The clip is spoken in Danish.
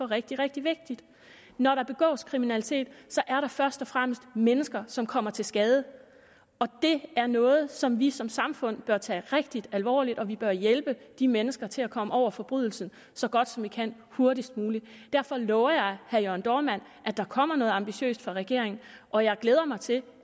rigtig rigtig vigtigt når der begås kriminalitet er der først og fremmest mennesker som kommer til skade og det er noget som vi som samfund bør tage rigtig alvorligt og vi bør hjælpe de mennesker til at komme over forbrydelsen så godt som vi kan hurtigst muligt derfor lover jeg herre jørn dohrmann at der kommer noget ambitiøst fra regeringen og jeg glæder mig til